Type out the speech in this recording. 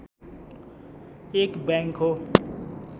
एक बैङ्क हो